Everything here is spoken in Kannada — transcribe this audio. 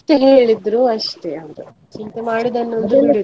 ಎಂತ ಹೇಳಿದ್ರು ಅಷ್ಟೇ ಅವ್ರು, ಚಿಂತೆ ಮಾಡುದನ್ನು ಒಂದು ಬಿಡುದಿಲ್ಲ.